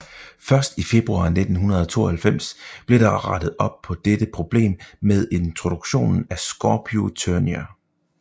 Først i februar 1992 blev der rettet op på dette problem med introduktionen af Scorpio Turnier